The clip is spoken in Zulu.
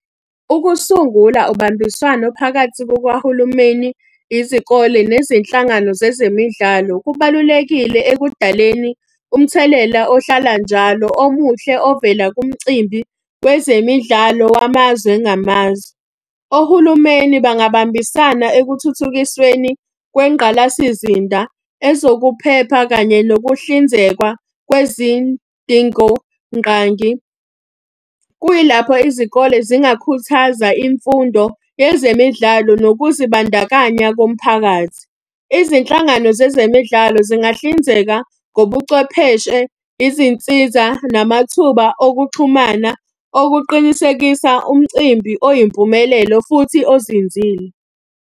Ukusungula ubambiswano phakathi kukahulumeni, izikole, nezinhlangano zezemidlalo kubalulekile ekudaleni umthelela ohlala njalo omuhle ovela kumcimbi wezemidlalo wamazwe ngamazwe. Ohulumeni bangabambisana ekuthuthukisweni kwengqalasizinda, ezokuphepha kanye nokuhlinzekwa kwezidingonqangi. Kuyilapho izikole zingakhuthaza imfundo yezemidlalo nokuzibandakanya komphakathi. Izinhlangano zezemidlalo zingahlinzeka ngobucwepheshe, izinsiza, namathuba okuxhumana okuqinisekisa umcimbi oyimpumelelo, futhi ozinzile.